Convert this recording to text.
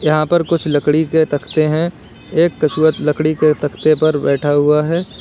यहां पर कुछ लकड़ी के तख्ते हैं एक कछुआ लकड़ी के तख्ते पर बैठा हुआ है।